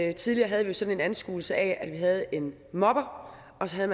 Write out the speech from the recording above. jo tidligere havde sådan en anskuelse af at vi havde en mobber og så havde